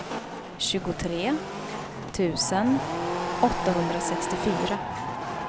tjugotre tusen åttahundrasextiofyra